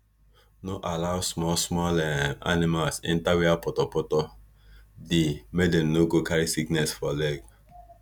no allow small small um animals enter where poto poto dey make dem no go carry sickness for leg